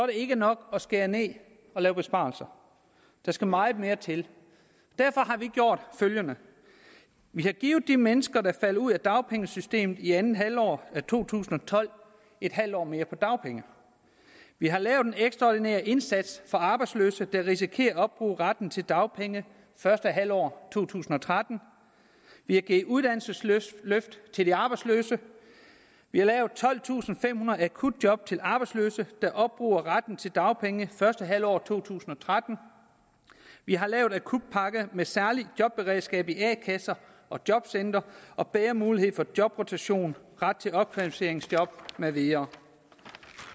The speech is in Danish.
ikke nok at skære ned og lave besparelser der skal meget mere til derfor har vi gjort følgende vi har givet de mennesker der falder ud af dagpengesystemet i andet halvår af to tusind og tolv en halv år mere på dagpenge vi har lavet en ekstraordinær indsats for arbejdsløse der risikerer at opbruge retten til dagpenge første halvår af to tusind og tretten vi har givet uddannelsesløft til de arbejdsløse vi har lavet tolvtusinde og femhundrede akutjob til arbejdsløse der opbruger retten til dagpenge første halvår af to tusind og tretten vi har lavet en akutpakke med særligt jobberedskab i a kasser og jobcentre og bedre mulighed for jobrotation ret til opkvalificeringsjob med videre